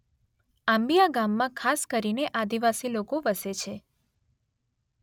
આંબીયા ગામમાં ખાસ કરીને આદિવાસી લોકો વસે છે